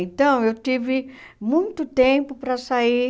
Então, eu tive muito tempo para sair